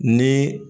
Ni